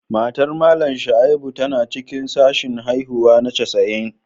Matar Mallam Shaibu tana cikin sashen haihuwa na Cesarean